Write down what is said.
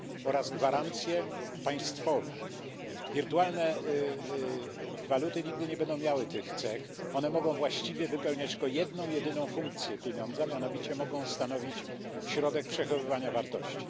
oraz gwarancje państwowe. Wirtualne waluty nigdy nie będą miały tych cech, one mogą właściwie wypełniać tylko jedną jedyną funkcję pieniądza, mianowicie mogą stanowić środek przechowywania wartości.